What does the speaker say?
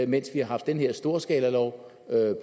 mens vi har haft den her storskalalov